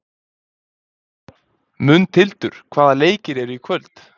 Mundhildur, hvaða leikir eru í kvöld?